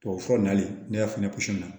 Tubabufura nali ne y'a fɛnɛ